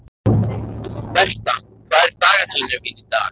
Bertha, hvað er í dagatalinu mínu í dag?